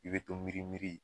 I bɛ to miiri miiri.